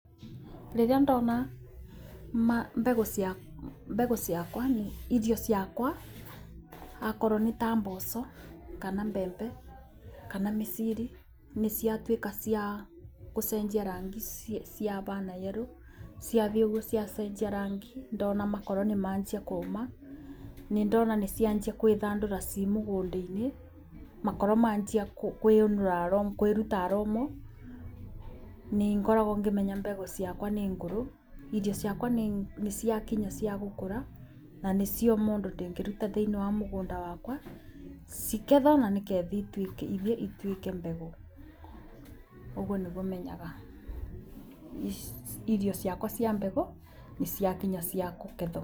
Rĩrĩa ndona mbegũ ciakwa irio ciakwa okorwo nĩta mboco kana mbembe kana mĩciri, nĩciatuĩka ciagũcenjia rangi ciabiana yero, ciathiĩ ũguo ciacenjia rangi ndona makoro nĩmanjia kũma, nĩndona nĩcianjia gwĩthandũra cĩ mũgũnda-inĩ, makorwo manjia kwĩyũnũra, kwĩruta aroma, nĩngoragwo ngĩmenya mbegũ ciakwa nĩ ngũrũ, irio ciakwa nĩciakinya ciagũkũra, na nĩcioma ũndũ ingĩruta thĩiniĩ wa mũgũnda wakwa, cigethwo nyanĩke thiĩ ithiĩ ituĩke mbegũ. Ũguo nĩguo menyaga irio ciakwa cia mbegũ nĩciakinya ciakũgethwo.